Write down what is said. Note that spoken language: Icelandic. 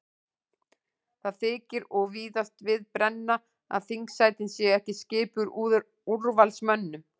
Það þykir og víðast við brenna að þingsætin séu ekki skipuð úrvalsmönnum.